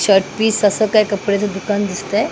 Shirt piece असं काय कपड्याचं दुकान दिसतंय.